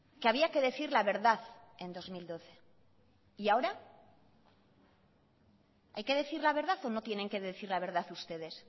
que había que decir la verdad en dos mil doce y ahora hay que decir la verdad o no tienen que decir la verdad ustedes